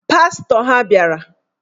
Pastọ ha bịara